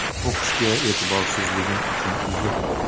O‘qishiga e’tiborsizligim uchun uzr.